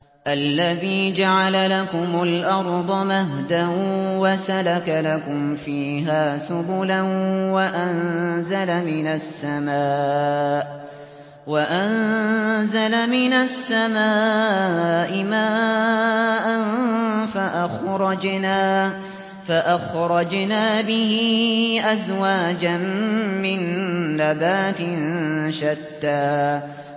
الَّذِي جَعَلَ لَكُمُ الْأَرْضَ مَهْدًا وَسَلَكَ لَكُمْ فِيهَا سُبُلًا وَأَنزَلَ مِنَ السَّمَاءِ مَاءً فَأَخْرَجْنَا بِهِ أَزْوَاجًا مِّن نَّبَاتٍ شَتَّىٰ